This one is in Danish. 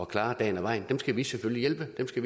klare dagen og vejen dem skal vi selvfølgelig hjælpe vi skal